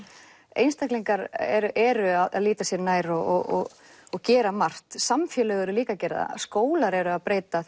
einstaklingar eru eru að líta sér nær og og gera margt samfélög eru líka að gera það skólar eru að breyta